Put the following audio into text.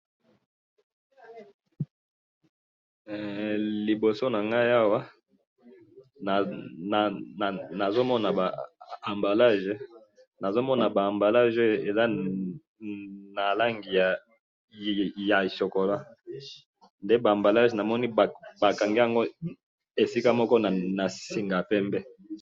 liboso na ngai awa, nazo mona ba emballages, nazo mona ba emballages oyo eza na langi ya chocolat, nde ba emballages namoni bakangi yango esika moko na singa pembe